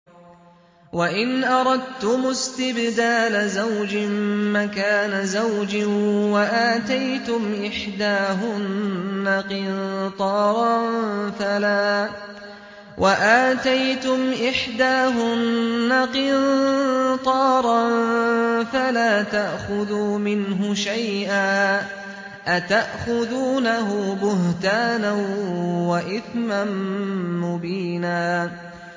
وَإِنْ أَرَدتُّمُ اسْتِبْدَالَ زَوْجٍ مَّكَانَ زَوْجٍ وَآتَيْتُمْ إِحْدَاهُنَّ قِنطَارًا فَلَا تَأْخُذُوا مِنْهُ شَيْئًا ۚ أَتَأْخُذُونَهُ بُهْتَانًا وَإِثْمًا مُّبِينًا